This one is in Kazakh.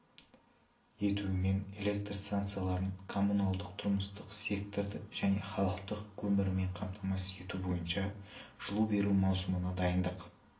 етуімен электр станцияларын коммуналдық-тұрмыстық секторды және халықты көмірмен қамтамасыз ету бойынша жылу беру маусымына дайындық